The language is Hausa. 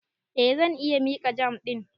Eh, zan iya miƙa jam ɗin.